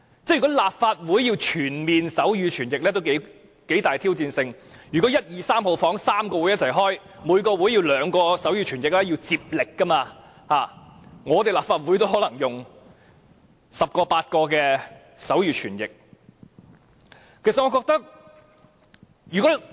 如果立法會要全面提供手語傳譯服務，也頗具挑戰性，如果會議室1、2、3同時舉行會議，每個會議需要兩名手語傳譯員接力，立法會可能也需要8名至10名手語傳譯員。